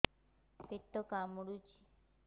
ପେଟ କାମୁଡୁଛି